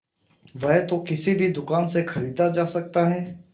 वह तो किसी भी दुकान से खरीदा जा सकता है